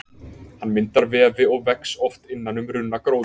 Hann myndar vefi og vex oft innan um runnagróður.